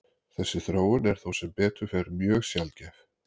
Þessi þróun er þó sem betur fer mjög sjaldgæf.